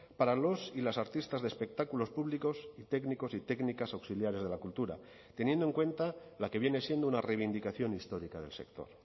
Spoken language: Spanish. para los y las artistas de espectáculos públicos y técnicos y técnicas auxiliares de la cultura teniendo en cuenta la que viene siendo una reivindicación histórica del sector